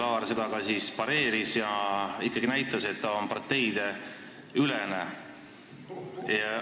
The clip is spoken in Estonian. Ja kas Laar siis pareeris seda ja näitas, et ta on ikkagi parteideülene?